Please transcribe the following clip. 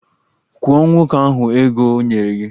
Kwụọ nwoke ahụ ego o nyere gị!